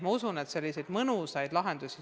Ma usun, et tuleb päris mõnusaid lahendusi.